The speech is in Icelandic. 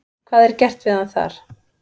Hvað er gert við hann þar?